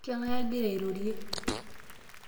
kang'ae agira airorie